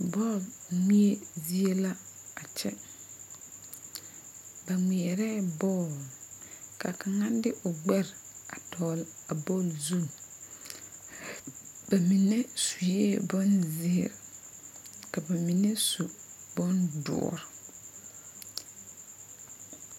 Bɔl ŋmeɛbo zie la a kyɛ ba ŋmeɛrɛɛ bɔl ka kaŋa de o gbɛre a dɔgle a bɔl zu ba mine sue bonzeere ka ba mine su doɔre.